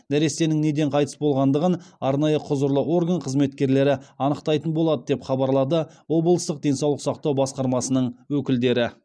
нәрестенің неден қайтыс болғандығын арнайы құзырлы орган қызметкерлері анықтайтын болады деп хабарлады облыстық денсаулық сақтау басқармасының өкілдері